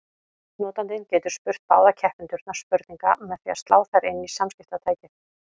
Notandinn getur spurt báða keppendurna spurninga með því að slá þær inn í samskiptatækið.